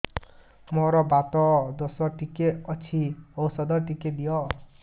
ମୋର୍ ବାତ ଦୋଷ ଟିକେ ଅଛି ଔଷଧ ଟିକେ ଦିଅ